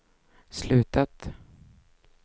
slutat